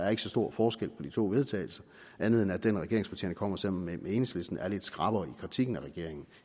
er så stor forskel på de to vedtagelse andet end at det regeringspartierne kommer med sammen med enhedslisten er lidt skrappere i kritikken af regeringen